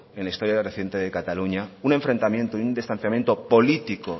en la historia reciente de cataluña un enfrentamiento y un distanciamiento político